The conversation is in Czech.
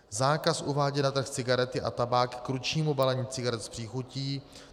Zákaz uvádět na trh cigarety a tabák k ručnímu balení cigaret s příchutí.